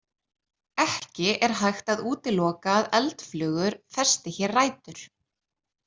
Ekki er hægt að útiloka að eldflugur festi hér rætur.